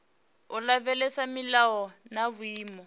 u lavhelesa milayo na vhuimo